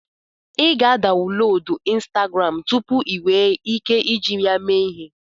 Ị ga-adaunlodu ịnstagram tụpụ ị nwe ike iji ya mee ihe